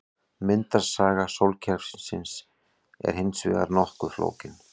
Myndunarsaga sólkerfisins er hins vegar nokkuð flókin.